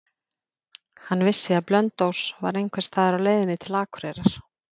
Hann vissi að Blönduós var einhversstaðar á leiðinni til Akureyrar.